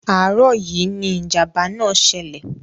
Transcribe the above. Àárọ̀ yìí ni ìjàm̀bá náà ṣẹlẹ̀.